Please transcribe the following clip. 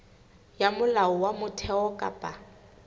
ya molao wa motheo kapa